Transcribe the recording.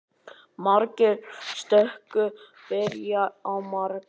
Margar stökur byrja á margur.